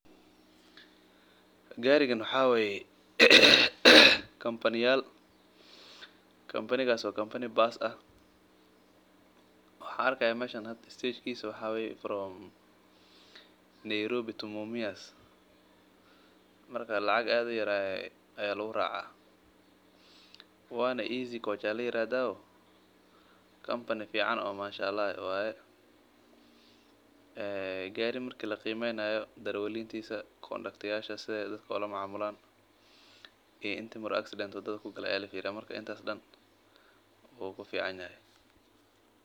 Garigan waxaa waye kampani baas ah waxaan arkaaya waxa waye Nairobi ila mumias lacag yar ayaa lagu raaca gaari fican waye darawaladiisa iyo sida aay dadka oola daqamaan kuli wuu ka fican yahay.